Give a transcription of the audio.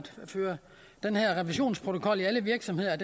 den her revisionsprotokol i alle virksomheder